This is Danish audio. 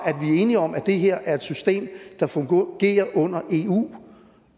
er enige om at det her er et system der fungerer under eu